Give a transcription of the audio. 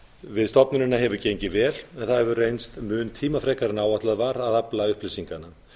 við stofnunina hefur gengið vel en það hefur reynst mun tímafrekara en áætlað var að afla upplýsinganna